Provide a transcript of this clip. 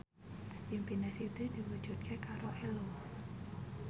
impine Siti diwujudke karo Ello